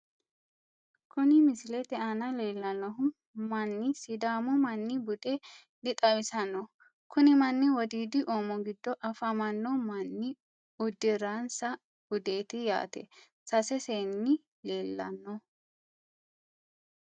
kuni misilete aana leellannohu manni sidaamu manni bude di xawisanno. kuni manni wodiidi oomo giddo afamanno manni uddiransa budeeti yaate sase seenni leellanno.